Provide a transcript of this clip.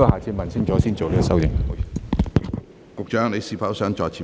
食物及衞生局局長，你是否想再次發言？